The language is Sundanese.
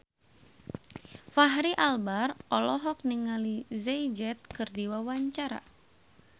Fachri Albar olohok ningali Jay Z keur diwawancara